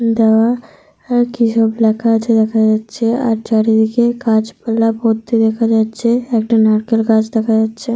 দেওয়া আর কিসব লেখা আছে দেখা যাচ্ছে। আর চারিদিকে গাছপালা ভর্তি দেখা যাচ্ছে। একটা নারকেল গাছ দেখা যাচ্ছে।